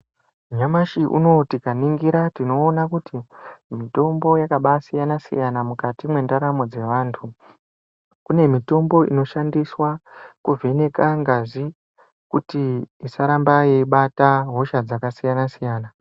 Nyamashi unou tikaningira tinoona kuti mitombo yakabaasiyana-siyana mukati mwendaramo dzevantu. Kune mitombo inoshandiswa kuvheneka ngazi kuti isaramba yeibata hosha dzakasiyana-siyana.